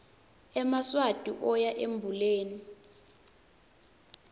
emaswati oya embuleni